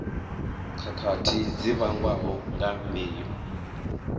khakhathi dzi vhangwaho nga mbeu